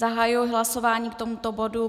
Zahajuji hlasování k tomuto bodu.